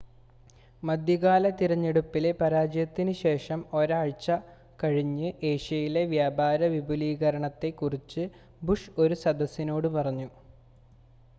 മധ്യകാല തിരഞ്ഞെടുപ്പിലെ പരാജയത്തിന് ശേഷം ഒരാഴ്ച്ച കഴിഞ്ഞ് ഏഷ്യയിലെ വ്യാപാര വിപുലീകരണത്തെ കുറിച്ച് ബുഷ് ഒരു സദസ്സിനോട് പറഞ്ഞു